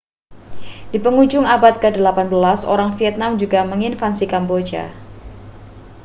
di pengujung abad ke-18 orang vietnam juga menginvasi kamboja